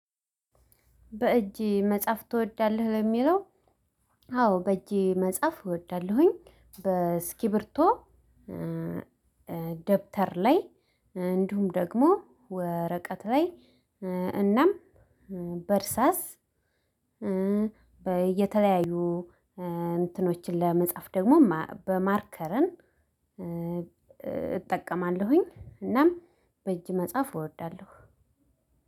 በእጅ መጽሐፍ ትወዳለህ? ለሚለው አዎ በእጄ መጽሐፍ እወዳለሁኝ በእስኪብርቶ ደብተር ላይ እንዲሁም ደግሞ ወረቀት ላይ እናም በእርሳስ በየተለያዩ እንትኖችን ለመጻፍ ደግሞ በማርከርን እጠቀማለሁኝ እናም በእጅ መጽሐፍ እወዳለሁ